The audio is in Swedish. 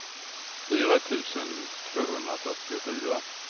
fyra tusen tvåhundrafyrtiofyra